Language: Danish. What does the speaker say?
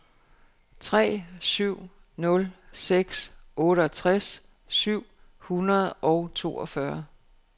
tre syv nul seks otteogtres syv hundrede og toogfyrre